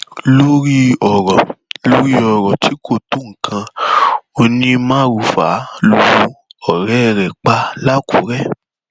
lórí ọrọ lórí ọrọ tí kò tó nǹkan onímaruufà lu ọrẹ ẹ pa làkúrẹ